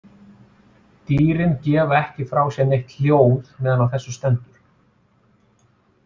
Dýrin gefa ekki frá sér neitt hljóð meðan á þessu stendur.